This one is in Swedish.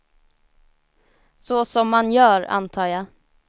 Så som man gör, antar jag.